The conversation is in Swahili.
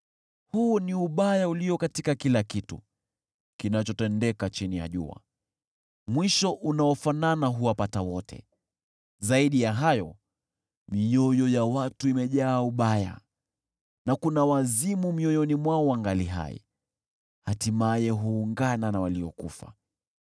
Huu ni ubaya ulio katika kila kitu kinachotendeka chini ya jua: Mwisho unaofanana huwapata wote. Zaidi ya hayo, mioyo ya watu, imejaa ubaya na kuna wazimu mioyoni mwao wangali hai, hatimaye huungana na waliokufa.